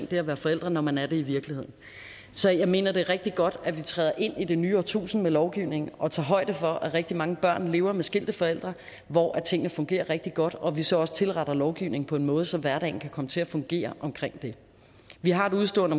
det at være forældre når man er det i virkeligheden så jeg mener det er rigtig godt at vi træder ind i det nye årtusinde med lovgivningen og tager højde for at rigtig mange børn lever med skilte forældre hvor tingene fungerer rigtig godt og at vi så også tilretter lovgivningen på en måde så hverdagen kan komme til at fungere omkring det vi har et udestående